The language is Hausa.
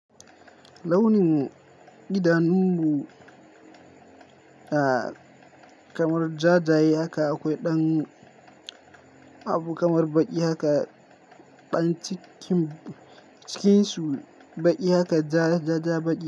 Launin idanun mu kamar ja jaye haka akwai ɗan abu kamar baƙi haka ɗan cikin su baƙi haka ja ja ja baƙi.